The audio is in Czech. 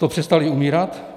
To přestali umírat?